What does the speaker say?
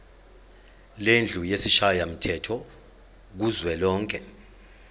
lendlu yesishayamthetho kuzwelonke